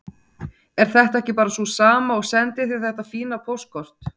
Er þetta ekki bara sú sama og sendi þér þetta fína póstkort?